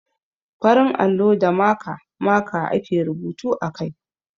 Farin allo da maka (marker) ake rubutu a kai.